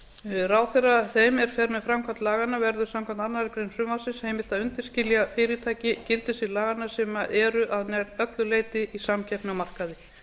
skapi ráðherra þeim er fer með framkvæmd laganna verður samkvæmt annarri grein frumvarpsins heimilt að undanskilja fyrirtæki gildissviði laganna sem eru að nær öllu leyti í samkeppni á markaði